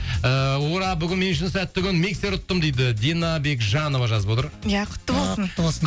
ыыы ура бүгін мен үшін сәтті күн миксер ұттым дейді дина бекжанова жазып отыр иә құтты болсын құтты болсын